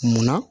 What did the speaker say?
Munna